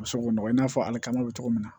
U bɛ se k'o nɔgɔ i n'a fɔ ale ka bɛ cogo min na